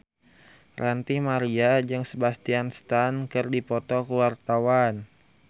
Ranty Maria jeung Sebastian Stan keur dipoto ku wartawan